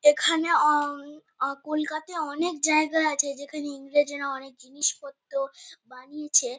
এখানে আ-ম আ কলকাতায় অনেক জায়গা আছে যেখানে ইংরেজরা অনেক জিনিস পত্র বানিয়েছে।